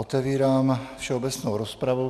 Otevírám všeobecnou rozpravu.